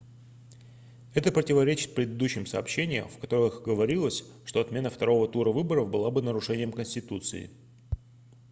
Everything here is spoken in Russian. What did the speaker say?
это противоречит предыдущим сообщениям в которых говорилось что отмена второго тура выборов была бы нарушением конституции